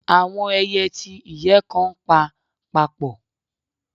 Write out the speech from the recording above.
Awọn ẹiyẹ ti iyẹ kan npa papọ.